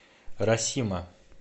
расима